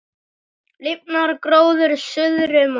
Lifnar gróður suðri mót.